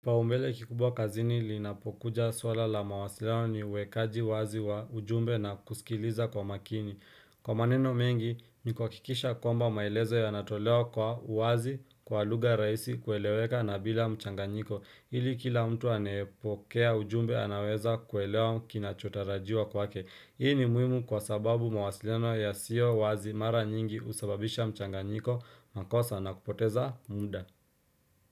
Kipaumbele kikubwa kazini linapokuja swala la mawasiliano ni uwekaji wazi wa ujumbe na kusikiliza kwa makini. Kwa maneno mengi, ni kuhakikisha kwamba malezo yanatolewa kwa uwazi kwa luga raihisi kueleweka na bila mchanganyiko. Ili kila mtu anayepokea ujumbe anaweza kinachotarajiwa kwake Hii ni muhimu kwa sababu mawasiliano yasiyo wazi mara nyingi husababisha mchanganyiko makosa na kupoteza muda.